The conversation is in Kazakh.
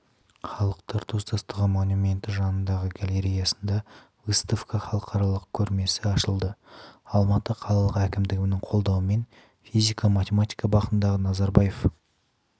халықтар достығы монументі жанындағы галереясында выставка халықаралық көрмесі ашылады алматы қалалық әкімдігінің қолдауымен физика-математика бағытындағы назарбаев